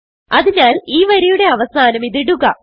അതിനാൽ ഈ വരിയുടെ അവസാനം ഇത് ഇടുക